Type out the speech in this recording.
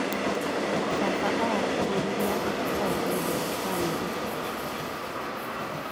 Baba aratĩtĩrithia bata wa wendo wa bamĩrĩ.